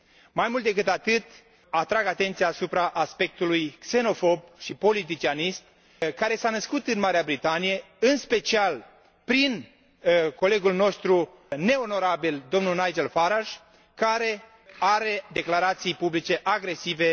Mai mult decât atât, atrag atenția asupra aspectului xenofob și politicianist care s a născut în Marea Britanie, în special prin colegul nostru neonorabil, domnul Nigel Farage, care are declarații publice agresive